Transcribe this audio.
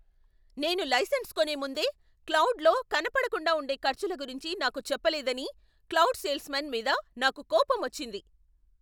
నేను లైసెన్స్ కొనే ముందే క్లౌడ్లో కనపడకుండా ఉండే ఖర్చుల గురించి నాకు చెప్పలేదని క్లౌడ్ సేల్స్మాన్ మీద నాకు కోపమొచ్చింది.